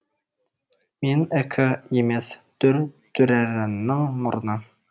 мен ікі емес дүр дүрэрэнің мұрны